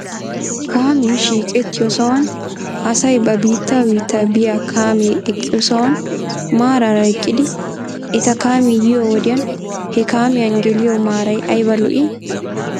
Kaamee shiiqettiyoo sohuwan asay ba biitta biita biyaa kaamee eqqiyoo sohuwan maaraara eqqidi eta kaamee yiyoo wodiyan he kaamiyan geliyoo maaray ayba lo'ii?